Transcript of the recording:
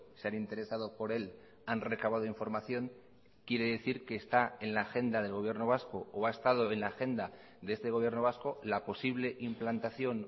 se han interesado por él han recabado información quiere decir que está en la agenda del gobierno vasco o ha estado en la agenda de este gobierno vasco la posible implantación